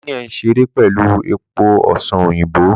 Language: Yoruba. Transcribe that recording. Daniel n ṣere pẹlu epo ọsan oyinbo